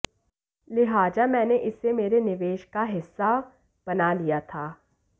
लिहाजा मैंने इसे मेरे निवेश का हिस्सा बना लिया था